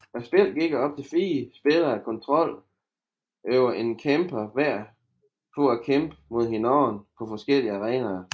Spillet giver op til fire spillere kontrol over en kæmper hver for at kæmpe mod hinanden på forskellige arenaer